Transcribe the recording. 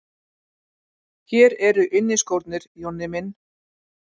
Hér eru inniskórnir, Jonni minn!